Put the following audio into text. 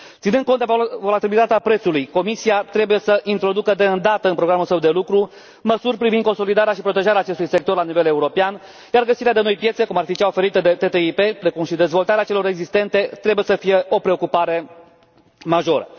Ținând cont de volatilitatea prețului, Comisia trebuie să introducă deîndată în programul său de lucru măsuri privind consolidarea și protejarea acestui sector la nivel european, iar găsirea de noi piețe cum ar fi cea oferită de TTIP, precum și dezvoltarea celor existente, trebuie să fie o preocupare majoră.